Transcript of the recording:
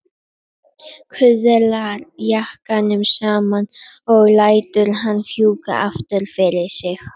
Kuðlar jakkanum saman og lætur hann fjúka aftur fyrir sig.